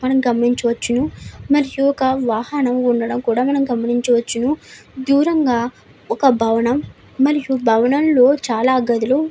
మనం గమనించవచ్చు .మన వాహనం ఉండడం గమనించవచ్చు. దూరం ఒక భవనం మరి భవనంలో చాల గదిలు--